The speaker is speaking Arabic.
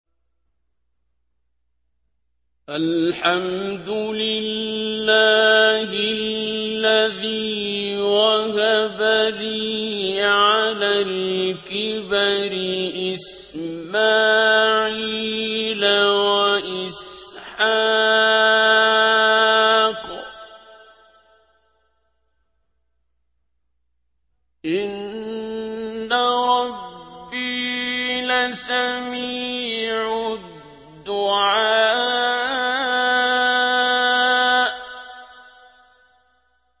الْحَمْدُ لِلَّهِ الَّذِي وَهَبَ لِي عَلَى الْكِبَرِ إِسْمَاعِيلَ وَإِسْحَاقَ ۚ إِنَّ رَبِّي لَسَمِيعُ الدُّعَاءِ